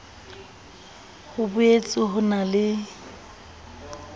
ho boetse ho na le